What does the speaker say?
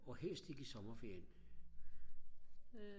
og helst ikke i sommerferien